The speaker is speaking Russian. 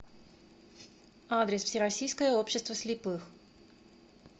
адрес всероссийское общество слепых